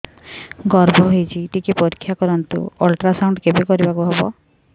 ଗର୍ଭ ହେଇଚି ଟିକେ ପରିକ୍ଷା କରନ୍ତୁ ଅଲଟ୍ରାସାଉଣ୍ଡ କେବେ କରିବାକୁ ହବ